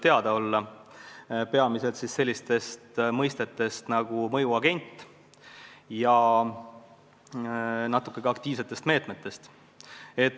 Peamiselt aga tuleb juttu sellisest mõistest nagu "mõjuagent" ja natuke ka aktiivsetest meetmetest.